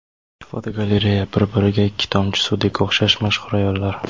Fotogalereya: Bir-biriga ikki tomchi suvdek o‘xshash mashhur ayollar.